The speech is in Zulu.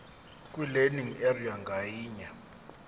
kwilearning area ngayinye